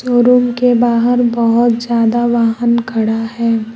Showroom के बाहर बहोत ज्यादा वाहन खड़ा है।